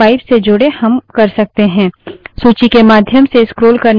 सूची के माध्यम से scroll करने के लिए enter दबायें